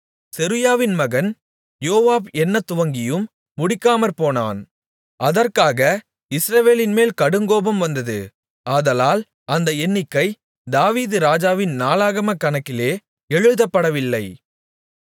செருயாவின் மகன் யோவாப் எண்ணத்துவங்கியும் முடிக்காமற்போனான் அதற்காக இஸ்ரவேலின்மேல் கடுங்கோபம் வந்தது ஆதலால் அந்த எண்ணிக்கை தாவீது ராஜாவின் நாளாகமக் கணக்கிலே எழுதப்படவில்லை